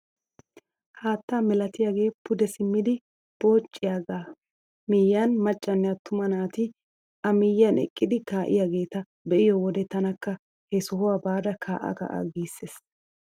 Haatta milatiyaagee pude simmidi pociyaagaa miyiyaan maccanne attuma nati a miyiyaan eqqdi ka'iyaageta be'iyoo wode tanakka he sohuwaa baada kaa"a kaa"a giissees!